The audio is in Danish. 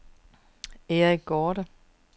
Eric Gaarde